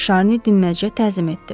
Şarni dinməzcə təzim etdi.